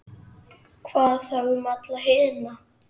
Hvað þá um alla hina?